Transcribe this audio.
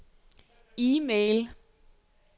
e-mail